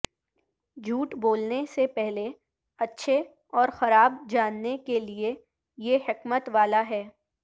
جھوٹ بولنے سے پہلے اچھے اور خراب جاننے کے لئے یہ حکمت والا ہے